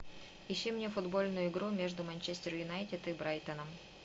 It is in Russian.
ищи мне футбольную игру между манчестер юнайтед и брайтоном